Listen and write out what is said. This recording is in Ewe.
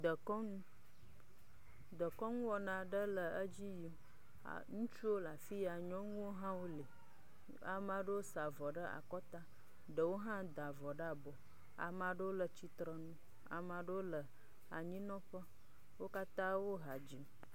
Dekɔnu. Dekɔnu wɔna aɖe le edzi yim. Ŋutsuwo la fia. Nyɔnuwo hã wole. Ama ɖewo sa avɔ ɖe akɔta. Ɖewo hã da vɔ ɖe abɔ. Ama ɖewo le tsitrenu. Ama ɖewo le anyinɔƒe wo katã wo ha dzim.